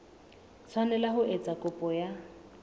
tshwanela ho etsa kopo ya